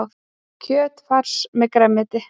Kjötfars með grænmeti